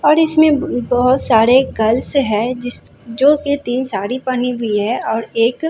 और इसमें बहुत सारे गर्ल्स है जिस जो कि तीन साड़ी पहनी हुई है और एक--